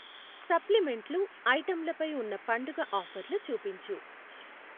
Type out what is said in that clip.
సప్లిమెంట్లు ఐటెంలపై ఉన్న పండుగ ఆఫర్లు చూపించు.